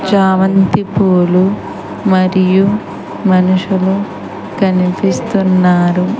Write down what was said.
చామంతి పూలు మరియు మనుషులు కనిపిస్తూన్నారు.